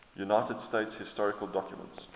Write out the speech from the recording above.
united states historical documents